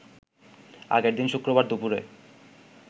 আগের দিন শুক্রবার দুপুরে